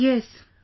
Yes...